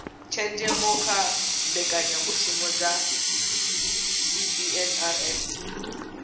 tshenzhemo kha mbekanyamishumo dza cbnrm